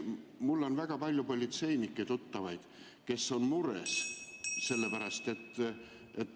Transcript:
Mul on väga palju tuttavaid politseinikke, kes on mures.